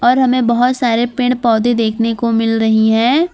और हमें बहुत सारे पेड़ पौधे देखने को मिल रही है।